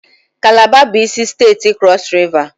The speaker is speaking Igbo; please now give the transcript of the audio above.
Kalaba bụ isi steeti Krọs Riva